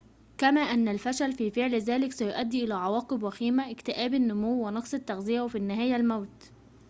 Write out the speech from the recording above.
كما أن الفشل في فعل ذلك سيؤدي إلى عواقب وخيمة اكتئاب النمو ونقص التغذية وفي النهاية الموت